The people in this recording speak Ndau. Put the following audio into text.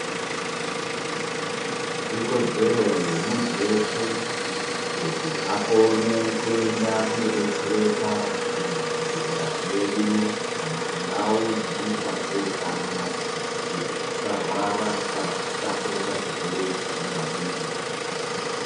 Ikodzero yemuntu veshe kuti akone kuenda kunobetsereka kuzvibhedhlera zvedu kana kundau dzinoitwa zvehutano. Kuti asarwara kana kutapurira chirwere ichi kune vamweni.